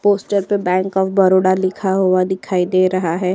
Poster पर bank of Baroda लिखा हुआ दिखाई दे रहा है।